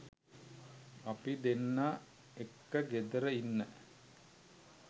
අපි දෙන්න එක්ක ගෙදර ඉන්න